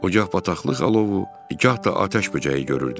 Gah bataqlıq alovu, gah da atəş böcəyi görürdü.